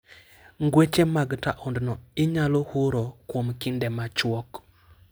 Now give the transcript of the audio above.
Ngweche mag taondno inyalo huro kuom kinde machuok.